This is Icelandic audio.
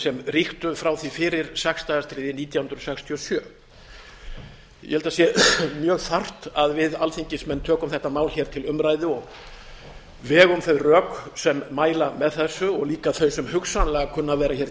sem ríktu frá því fyrir sex daga stríðið nítján hundruð sextíu og sjö ég held að það sé mjög þarft að við alþingismenn tökum þetta mál hér til umræðu og vegum þau rök sem mæla með þessu og líka þau sem hugsanlega kunna að vera hér